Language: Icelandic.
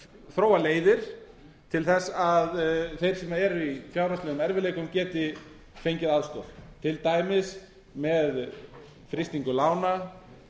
þróa leiðir til þess að þeir sem eru í fjárhagslegum erfiðleikum geti fengið aðstoð til dæmis með frystingu lána